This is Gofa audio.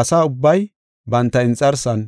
Asa ubbay banta inxarsan,